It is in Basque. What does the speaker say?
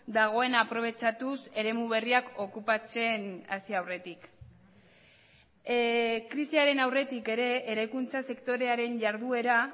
dagoena aprobetxatuz eremu berriak okupatzen hasi aurretik krisiaren aurretik ere eraikuntza sektorearen jarduera